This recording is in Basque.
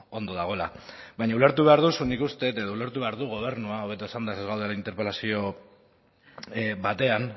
ondo dagoela baina ulertu behar duzu nik uste edo ulertu behar du gobernuak hobeto esanda ze ez gaude interpelazio batean